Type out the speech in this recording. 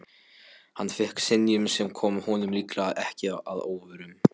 Hann fékk synjun, sem kom honum líklega ekki að óvörum.